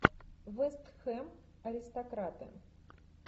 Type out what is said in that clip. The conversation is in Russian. вест хэм аристократы